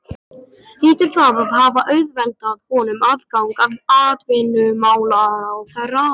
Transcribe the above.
Hlýtur það að hafa auðveldað honum aðgang að atvinnumálaráðherra.